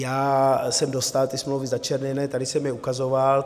Já jsem dostal ty smlouvy začerněné, tady jsem je ukazoval.